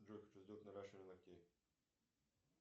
джой хочу сделать наращивание ногтей